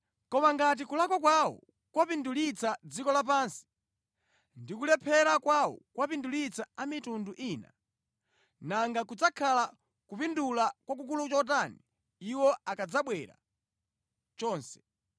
Koma ngati kulakwa kwawo kwapindulitsa dziko lapansi ndi kulephera kwawo kwapindulitsa a mitundu ina, nanga kudzakhala kupindula kwakukulu chotani iwo akadzabwera chonse!